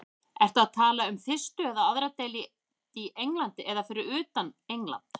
Ertu að tala um fyrstu eða aðra deild í Englandi eða fyrir utan England?